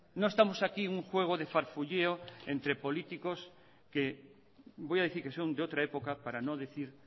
no estamos aquí un juego de farfulleo entre políticos que voy a decir que son de otra época para no decir